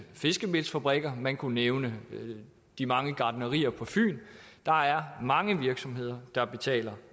fiskemelsfabrikker man kunne nævne de mange gartnerier på fyn der er mange virksomheder der betaler